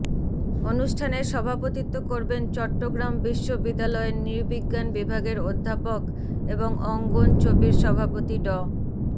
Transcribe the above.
অনুষ্ঠানের সভাপতিত্ব করবেন চট্টগ্রাম বিশ্ববিদ্যালয়ের নৃবিজ্ঞান বিভাগের অধ্যাপক এবং অঙ্গন চবির সভাপতি ড